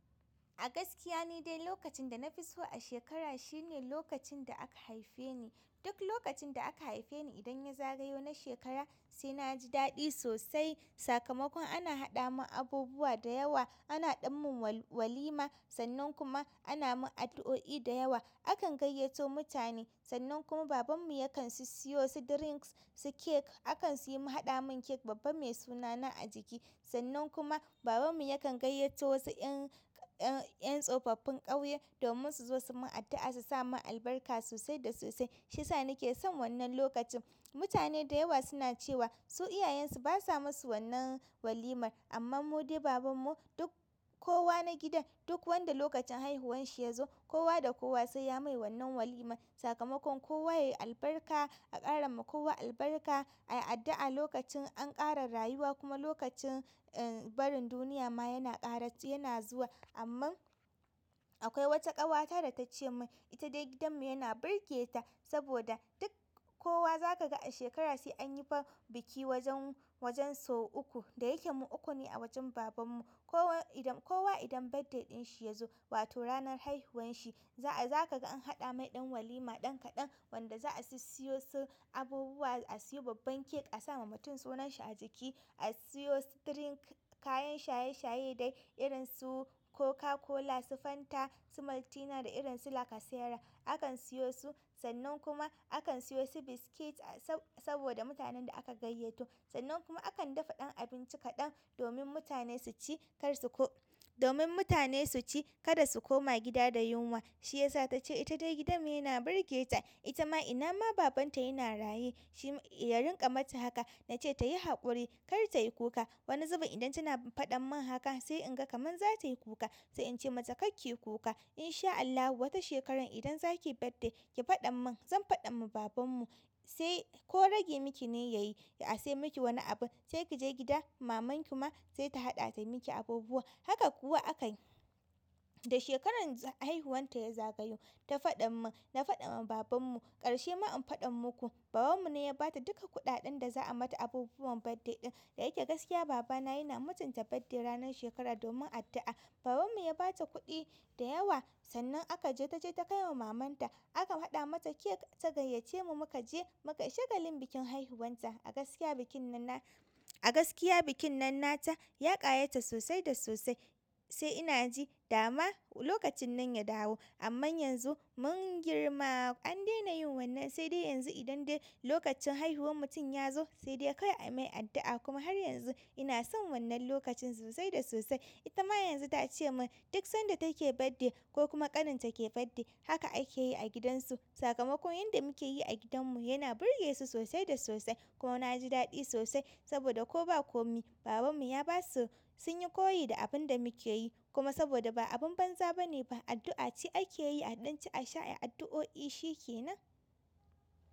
A gaskiya ni dai lokacin da nafi so a shekara shine lokacin da aka haife ni. Duk lokacin da aka haife ni idan ya zagayo na shekara sai na ji daɗi sosai. Sakamakon ana haɗa mun abubuwa da yawa, ana ɗan mun walima sannan kuma ana mun addu'o'i da yawa. Akan gayyato mutane, sannan kuma baban mu yakan su siyo su drinks, su cake. Akan suyi ma haɗa mun cake babba mai sunana a jiki, sannan kuma, baban mu yakan gayyato wasu ƴan, ƴan tsofaffin ƙauye domin su zo su mun addu'a su sa mun albarka sosai da sosai. Shi yasa ni ke son wannan lokacin. Mutane da yawa suna cewa, su iyayen su ba sa masu wannan walimar. Amma mu dai baban mu, duk kowa na gidan, duk wanda lokacin haihuwanshi ya zo, kowa da kowa sai ya mai wannan walimar. Sakamakon kowa yayi albarka, a ƙara mu kowa albarka, a yi addu'a lokacin an ƙara rayuwa kuma lokacin ƴan barin duniya ma yana ƙara, yana zuwa. Amman, akwai wata ƙawata da ta ce mun, ita dai gidan mu yana burge ta saboda duk kowa zaka ga a shekara sai an yi fa biki wajen, wajen sau uku. Da yake mu uku ne a wajen baban mu. Kowa idan, kowa idan birthday ɗin shi ya zo, wato ranar haihuwanshi, za a, zaka ga an haɗa mai ɗan walima ɗan kaɗan wanda za a sissiyo su abubuwa, a siyo babban cake, a sa ma mutum sunan shi a jiki, a siyo su drink, kayan shaye shaye dai irin su Coca-Cola, su Fanta, su Maltina da irin su Lacasera. Akan siyo su, sannan kuma akan siyo su biscuit saboda mutanen da aka gayyato. Sannan kuma akan dafa ɗan abinci kaɗan, domin mutane su ci, kar su koma gida da yunwa. Shi yasa ta ce ita dai gidan mu yana burge ta. Ita ma ina ma babanta yana raye, shi, ya rinƙa mata haka. Na ce ta yi haƙuri kar ta yi kuka. Wani zubin idan tana faɗan mun haka, sai in ga kaman za ta yi kuka. Sai in ce mata "karki yi kuka, in sha Allahu wata shekarar idan zaki yi birthday ki faɗa mun zan faɗa ma baban mu, sai, ko rage miki ne ya yi, ya, a sai miki wani abun sai ki je gida maman ki ma sai ta haɗa ta miki abubuwa". Haka kuwa aka yi. Da shekarar haihuwanta ya zagayo, ta faɗan mun, na faɗa ma baban mu. Ƙarshe ma in faɗan muku, baban mu ne ya bata duka kuɗaɗen da za a mata abubuwan birthday ɗin. Da yake gaskiya baba na yana mutunta birthday ranar shekara domin addu'a. Baban mu ya ba ta kuɗi da yawa sannan aka je, ta je ta kai wa maman ta. Aka haɗa mata cake ta gayyace mu muka je muka yi shagalin bikin haihuwanta. A gaskiya bikin nan na, a gaskiya bikin nan nata, ya ƙayata sosai da sosai, sai ina ji dama lokacin nan ya dawo. Amma yanzu mun girma, an daina yin wannan sai dai yanzu idan dai lokacin haihuwar mutum ya zo, sai dai kawai a mai addu'a, kuma har yanzu ina son wannan lokacin sosai da sosai. Ita ma yanzu ta ce mun duk sanda take birthday ko kuma ƙanin ta ke birthday haka ake yi a gidan su. Sakamakon yanda muke yi a gidan mu yana burge su sosai da sosai. Kuma na ji daɗi sosai, saboda ko ba ko mi, baban mu ya basu sun yi koyi da abun da muke yi. Kuma saboda ba abun banza ba ne ba, addu'a ce ake yi a ɗanci a sha a yi addu'o'i shi kenan.